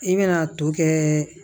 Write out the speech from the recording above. I bɛna to kɛ